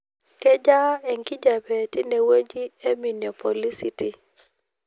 kejaa enkijape tinewuji ee minneapoliscity